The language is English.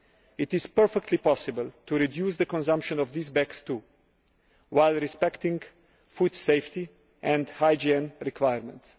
It is perfectly possible to reduce the consumption of these bags too while respecting food safety and hygiene requirements.